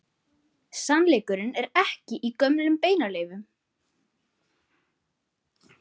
Sannleikurinn er ekki í gömlum beinaleifum.